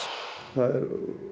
það er